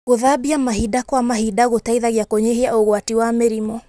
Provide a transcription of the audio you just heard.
Gũthambia mahinda kwa mahinda gũteithagia kũnyihia ũgwati wa mĩrimũ.